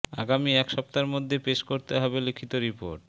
আগামী এক সপ্তাহের মধ্যে পেশ করতে হবে লিখিত রিপোর্ট